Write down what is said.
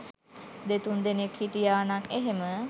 දෙතුන් දෙනෙක් හිටියනං එහෙම